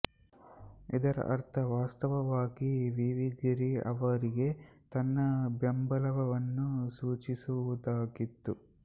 ಇದರ ಅರ್ಥ ವಾಸ್ತವವಾಗಿ ವಿ ವಿ ಗಿರಿ ಅವರಿಗೆ ತನ್ನ ಬೆಂಬಲವನ್ನು ಸೂಚಿಸುವುದಾಗಿತ್ತು